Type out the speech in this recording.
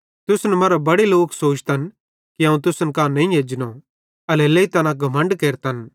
तुसन मरां बड़े लोक सोचतन कि अवं तुसन कां नईं एजनो एल्हेरेलेइ तैना घमण्ड केरतन